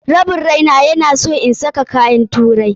Rabin raina ya na son ina saka kayan turai.